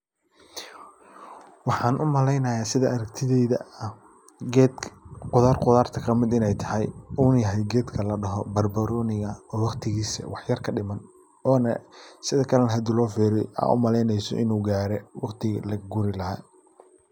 Waxaan u malaynaya sida aragtidayda ah geed qudar qudarta kamid inay tahay uuna yahay geedka ladaho barbarooniga oo waqtigiisa waxyar kadhiman oona sidakale na hadii loo fiiriyo aa u malaynayso inu gaare waqtigii la goyn laha.